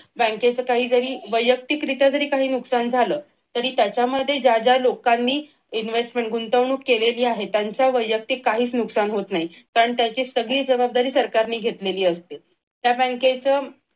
बँकेचं जरी काही वैयक्तिक रित्या जरी काही नुकसान झालं तरी त्याच्यामध्ये ज्या ज्या लोकांनी investment म्हणजे गुंतवणूक केलेली आहे त्यांचं काहीच वैयक्तिक नुकसान होत नाही कारण त्याची सगळी जबाबदारी सरकारने घेतलेली असते त्या बँकेचं